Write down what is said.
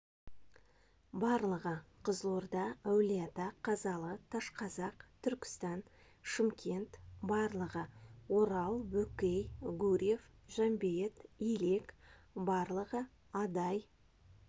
барлығы қызылорда әулиеата қазалы ташқазақ түркістан шымкент барлығы орал бөкей гурьев жамбейіт илек барлығы адай